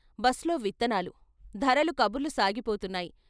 Bus లో విత్తనాలు ధరలు కబుర్లు సాగిపోతున్నాయి.